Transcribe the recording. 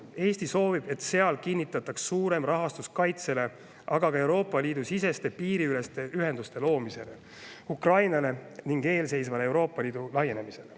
Eesti soovib, et seal kinnitataks suurem rahastus kaitsele, aga ka Euroopa Liidu siseste piiriüleste ühenduste loomisele, Ukrainale ning eelseisvale Euroopa Liidu laienemisele.